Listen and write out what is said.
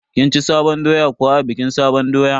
Kin ci sabon doya kuwa a bikin sabon doya?